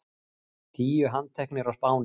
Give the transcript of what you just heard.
Tíu handteknir á Spáni